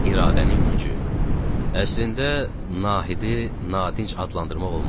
Əslində Nahidi nadinc adlandırmaq olmazdı.